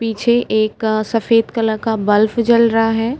पीछे एक अ सफेद कलर का बलफ़ जल रहा है।